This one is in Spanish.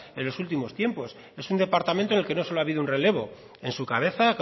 en los últimos tiempos es un departamento en que no solo ha habido un relevo en su cabeza